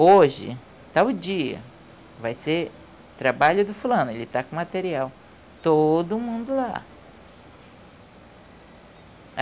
Hoje, tal dia, vai ser trabalho do fulano, ele está com material, todo mundo lá.